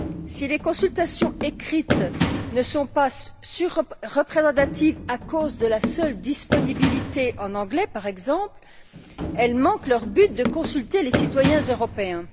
Si les consultations écrites ne sont pas représentatives à cause de la seule disponibilité en anglais, par exemple, elles manquent leur but de consulter les citoyens européens.